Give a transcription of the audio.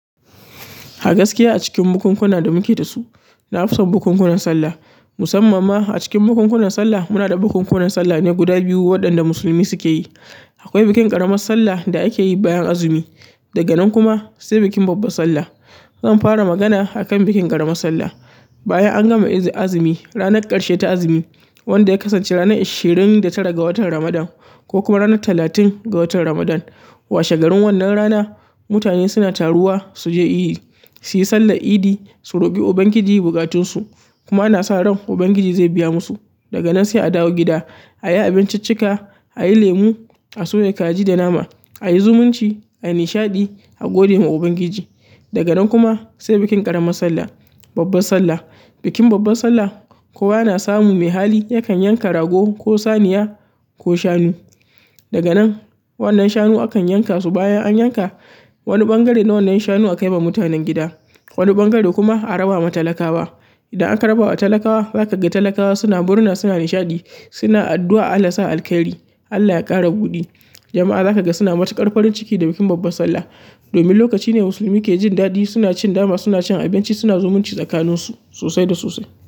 A gaskiya a cikin bukunkuna da muke da su, na fison bukunkunan sallah. Musamman ma a cikin bukunkunan sallah, muna da bukunkunan sallah ne guda biyu waɗanda musulmi suke yi. Akwai bikin ƙaramar sallah da ake yi bayan azumi. Daga nan kuma sai bikin babbar sallah. Zan fara magana akan bikin ƙaramar sallah. Bayan an gama izi-azumi, ranar ƙarshe ta azumi wanda ya kasance ranar ishirin da tara ga watan Ramadan ko kuma ranar talatin ga watan Ramadan. Washe garin wannan rana, mutane suna taruwa su je iyi, su yi sallar idi, su roki Ubangiji bukatunsu kuma ana sa ran Ubangiji zai biya musu. Daga nan sai a dawo gida, a yi abinciccika, a yi lemu, a soya kaji da nama, a yi zumunci, a yi nishaɗi, a gode ma Ubangiji. Daga nan kuma sai bikin ƙaramar sallah, babbar sallah. Bikin babbar sallah, kowa yana samun mai hali yakan yanka rago ko saniya ko shanu. Daga nan wannan shanu akan yanka su. Bayan an yanka, wani ɓangare na wannan shanu akai ma mutanen gida, wani ɓangare kuma a raba ma talakawa. Idan aka raba wa talakawa, zaka ga talakawa suna murna, suna nishaɗi, suna addu'a Allah sa alkairi, Allah ya ƙara buɗi. Jama'a zaka ga suna matuƙar farin ciki da bikin babbar sallah. Domin lokaci ne musulmi ke jin daɗi suna cin nama, suna cin abinci, suna zumunci tsakaninsu sosai da sosai.